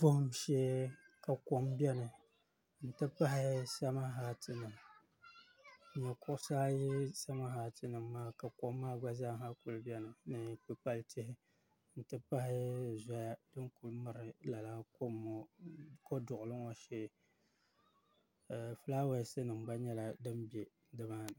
Vuhim shee ka kom biɛni n ti pahi sama hati nima nyɛ kuɣusi ayi sama hati maa ka kom maa gba zaa ha kuli biɛni ni kpikpal'tihi n ti pahi zoya din kuli miri lala kom ŋɔ Koduɣili ŋɔ shee filaawaasi nima gba nyɛla din be nimani.